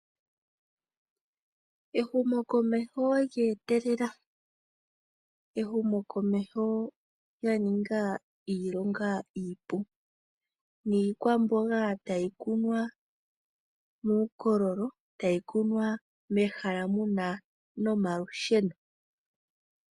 Ehumo komeho lye etelela, ehumo komeho lya ninga iilonga iipu niikwamboga tayi kunwa muukololo tayi kunwa mehala muna nomalusheno.